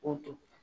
K'o to